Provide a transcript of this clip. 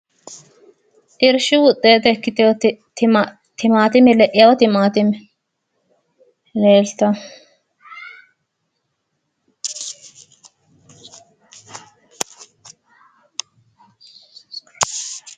Irshu woxxeete ikkitinoti leino timaatine leeltanno.